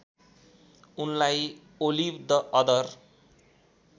उनलाई Olive the other